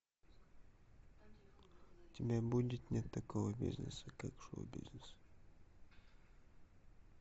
у тебя будет нет такого бизнеса как шоу бизнес